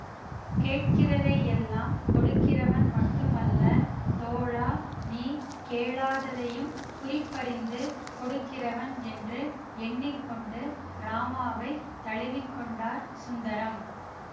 கேட்கிறதையெல்லாம் கொடுக்கிறவன் மட்டுமல்ல தோழா நீ கேளாததையும் குறிப்பறிந்து கொடுக்கிறவன் என்று எண்ணி கொண்டு ராமாவைத் தழுவி கொண்டார் சுந்தரம்